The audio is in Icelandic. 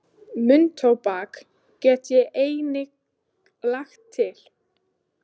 Munntóbak get ég einnig lagt til.